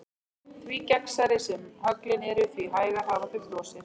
Því gegnsærri sem höglin eru því hægar hafa þau frosið.